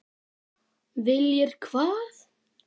Viljir hvað?